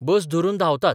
बस धरून धांवतात.